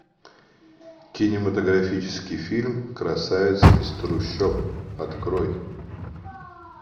кинематографический фильм красавица из трущоб открой